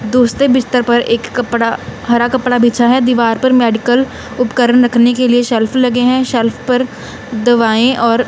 दोस्तों बिस्तर पर एक कपड़ा हरा कपड़ा बिछा है दीवार पर मेडिकल उपकरण रखने के लिए सेल्फ लगे हैं सेल्फ पर दवाएं और--